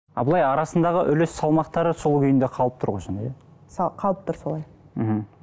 а былай арасындағы үлес салмақтары сол күйінде қалып тұр ғой сонда иә қалып тұр солай мхм